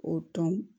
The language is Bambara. O dɔn